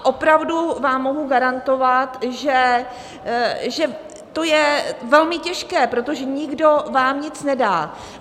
A opravdu vám mohu garantovat, že to je velmi těžké, protože nikdo vám nic nedá.